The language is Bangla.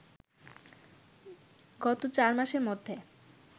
গত চারমাসের মধ্যে